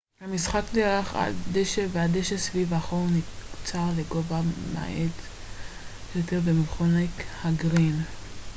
המשחק נערך על דשא והדשא סביב החור נקצר לגובה מועט יותר ומכונה ה גרין